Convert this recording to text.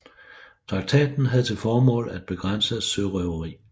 Traktaten havde til formål at begrænse sørøveri